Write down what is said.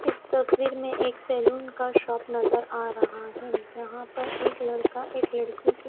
इस तस्वीर में एक सैलून का शॉप नजर आ रहा है। जहां पर एक लड़का एक लड़की के--